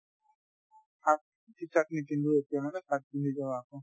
half t-shirt নিপিন্ধো সেই কাৰণে shirt পিন্ধি যাওঁ আকৌ